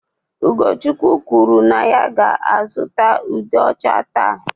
Ugochukwu kwuru na ya ga-azụta ude ocha taa.